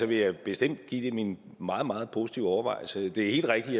vil jeg bestemt give det min meget meget positive overvejelse det er helt rigtigt